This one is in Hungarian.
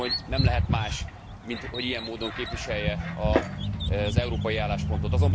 Azt gondolom, hogy nem lehet más, mint, hogy ilyen módon képviselje az európai álláspontot.